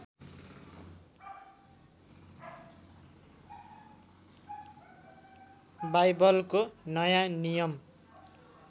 बाइबलको नयाँ नियम